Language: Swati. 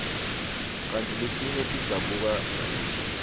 kantsi letinye tidzabuka kalula